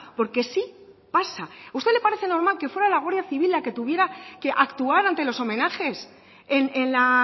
porque sí pasa a usted le parece normal que fuera la guardia civil la que tuviera que actuar ante los homenajes en la